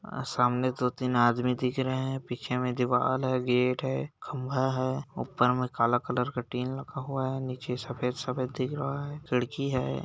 अ सामने दो-तीन आदमी दिख रहे है पीछे मे दीवाल है गेट है खंभा है ऊपर मे काला कलर का टीन रखा हुआ है नीचे सफेद-सफेद दिख रहा है खिड़की है।